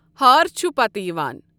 ہار چھؙ پَتہٕ یِوان۔